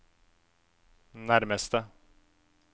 nærmeste